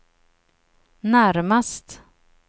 närmast